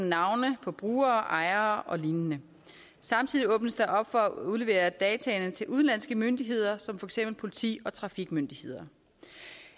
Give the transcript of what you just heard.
navne på brugere ejere og lignende samtidig åbnes der op for at udlevere dataene til udenlandske myndigheder som for eksempel politi og trafikmyndigheder